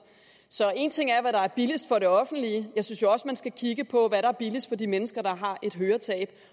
så en ting er hvad der er billigst for det offentlige jeg synes jo også man skal kigge på hvad der er billigst for de mennesker der har et høretab